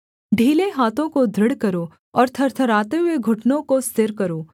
ढीले हाथों को दृढ़ करो और थरथराते हुए घुटनों को स्थिर करो